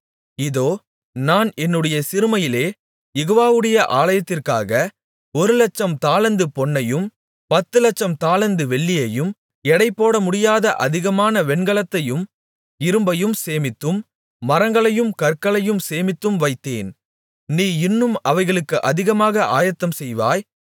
இதோ நான் என்னுடைய சிறுமையிலே யெகோவாவுடைய ஆலயத்திற்காக ஒரு லட்சம் தாலந்து பொன்னையும் பத்து லட்சம் தாலந்து வெள்ளியையும் எடைபோட முடியாத அதிகமான வெண்கலத்தையும் இரும்பையும் சேமித்தும் மரங்களையும் கற்களையும் சேமித்தும் வைத்தேன் நீ இன்னும் அவைகளுக்கு அதிகமாக ஆயத்தம் செய்வாய்